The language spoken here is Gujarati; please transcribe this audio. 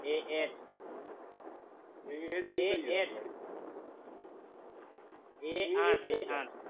AS A આથ